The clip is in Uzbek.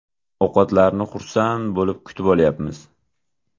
Ovqatlarni xursand bo‘lib kutib olyapmiz.